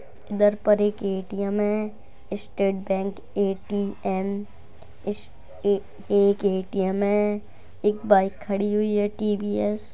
दर पर एक एटीएम है। स्टेट बैंक एटीएम ईश एक एटीम है। एक बाइक खड़ी हुई है टीवीएस ।